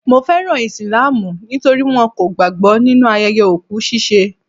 Mo fẹ́ràn Islamu nítorí wọn kò gbàgbọ́ nínu ayẹyẹ òkú ṣiṣẹ́.